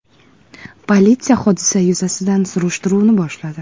Politsiya hodisa yuzasidan surishtiruvni boshladi.